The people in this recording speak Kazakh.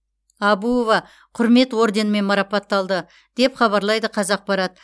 әбуова құрмет орденімен марапатталды деп хабарлайды қазақпарат